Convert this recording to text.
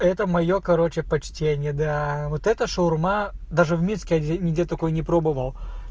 это моё короче почтение да вот это шаурма даже в минске ни нигде такой не пробовал